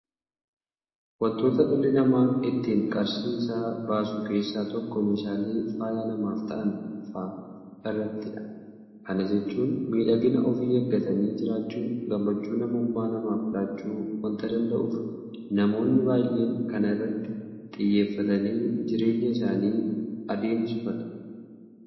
Waantota dhalli namaa ittiin qarshii isaa baasu keessaa tokko meeshaalee faaya namaaf ta'an fa'aa irrattidha. Kana jechuun miidhagina ofii eeggatanii jiraachuun gammachuu namummaa namaaf laachuu waanta danda'uuf namoonni baay'een kana irratti xiyyeeffatanii jireenya isaanii adeemsifatu.